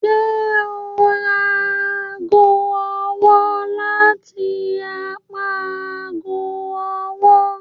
Ṣe o n ra aago ọwọ lati apá aago ọwọ?